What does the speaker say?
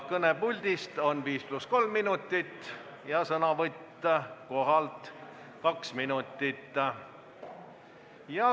Kõne puldist on 5 + 3 minutit ja sõnavõtt koha pealt 2 minutit.